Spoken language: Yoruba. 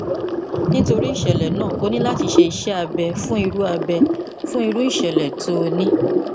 nítorí ìṣẹlẹ náà ó ní láti ṣe iṣẹ abẹ fún irú abẹ fún irú ìṣẹlẹ tí o ní